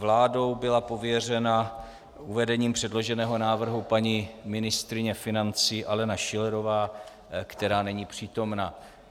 Vládou byla pověřena uvedením předloženého návrhu paní ministryně financí Alena Schillerová, která není přítomna.